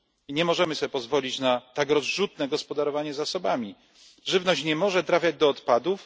Nie możemy sobie pozwolić na takie rozrzutne gospodarowanie zasobami żywność nie może trafiać do odpadów.